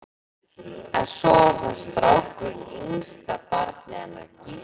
En svo var það strákurinn, yngsta barnið hennar Gíslínu.